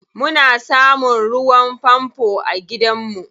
Muna samun ruwan fanfo a gidanmu.